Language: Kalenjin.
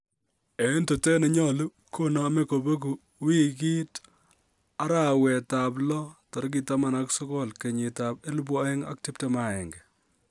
En tetet ne nyolu konome kobegu wigit arawet ab lo 19/2021